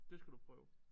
Det skal du prøve